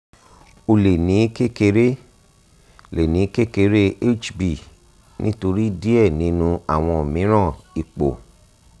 o le ni kekere le ni kekere hb nitori diẹ ninu awọn miiran ipo